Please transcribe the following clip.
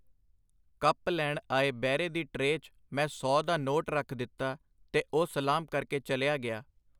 Cup ਲੈਣ ਆਏ ਬੈਰੇ ਦੀ ਟਰੇਅ 'ਚ ਮੈਂ ਸੌ ਦਾ ਨੋਟ ਰੱਖ ਦਿੱਤਾ ਤੇ ਉਹ ਸਲਾਮ ਕਰਕੇ ਚਲਿਆ ਗਿਆ.